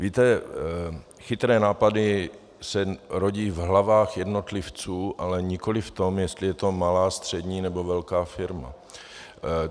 Víte, chytré nápady se rodí v hlavách jednotlivců, ale nikoliv v tom, jestli je to malá, střední nebo velká firma.